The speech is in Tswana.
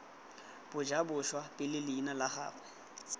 bajaboswa pele leina la gagwe